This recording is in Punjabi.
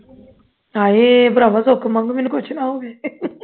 ਹਾਏ ਭਰਾਵਾਂ ਸੁੱਖ ਮੰਗ ਮੈਨੂੰ ਕੁਝ ਨਾ ਹੋਵੇ